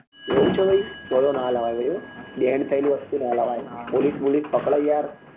એવું છે તો તતો નાં લવાય હો ભાઈ હો banne થયેલી વસ્તુ નાં લવાય police વોલીસ પકડે યાર